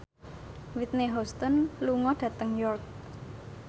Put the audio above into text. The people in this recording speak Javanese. Whitney Houston lunga dhateng York